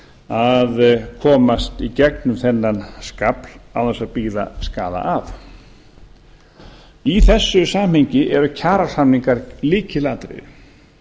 að komast í gegnum þennan skafl án þess að bíða skaða af í þessu samhengi eru kjarasamningar lykilatriði